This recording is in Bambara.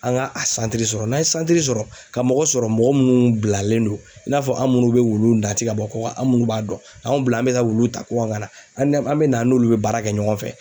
An ŋa a santiri sɔrɔ n'an ye santiri sɔrɔ ka mɔgɔ sɔrɔ mɔgɔ munnu bilalen don i n'a fɔ an' munnu be wulu nati ka bɔ kɔka an' munnu b'a dɔn, anw bila an bɛ ka wulu ta kɔkan ka na an nɛ an bɛ na an n'olu be baara kɛ ɲɔgɔn fɛ.